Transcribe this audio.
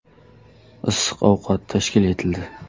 Issiq ovqat tashkil etildi.